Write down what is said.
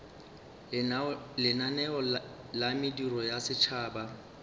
lenaneo la mediro ya setšhaba